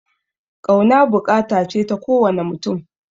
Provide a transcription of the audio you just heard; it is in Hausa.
Ƙauna buƙata ce ta ko wane mutum